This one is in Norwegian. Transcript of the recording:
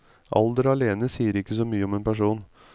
Alder alene sier ikke så mye om en person.